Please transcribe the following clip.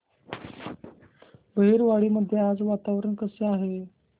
बहिरवाडी मध्ये आज वातावरण कसे आहे